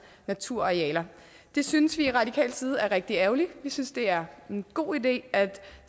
naturarealer det synes vi fra radikal side er rigtig ærgerligt vi synes det er en god idé at